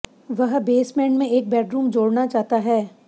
वह बेसमेंट में एक बेडरूम जोड़ना चाहता है